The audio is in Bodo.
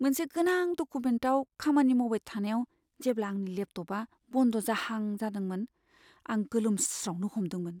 मोनसे गोनां डकुमेन्टआव खामानि मावबाय थानायाव जेब्ला आंनि लेपटपआ बन्द जाहां जादोंमोन आं गोलोमस्रावनो हमदोंमोन ।